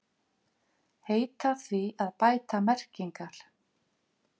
Heita því að bæta merkingar